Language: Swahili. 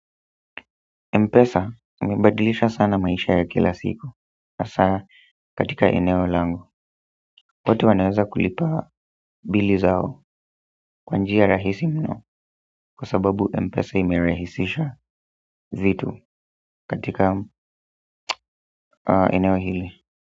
Mpesa umebadilisha sana maisha ya kila siku hasa katika eneo lango. Watu wanaweza kulipa bili zao kwa njia rahisi mno kwa sababu Mpesa imerahisisha vitu katika eneo hili.